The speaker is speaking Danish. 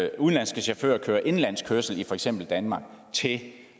at udenlandske chauffører kører indenlandsk kørsel i for eksempel danmark til